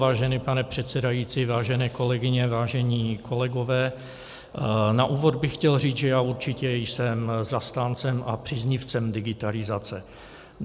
Vážený pane předsedající, vážené kolegyně, vážení kolegové, na úvod bych chtěl říct, že já určitě jsem zastáncem a příznivcem digitalizace.